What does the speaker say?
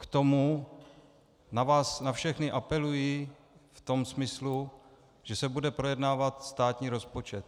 K tomu na vás na všechny apeluji v tom smyslu, že se bude projednávat státní rozpočet.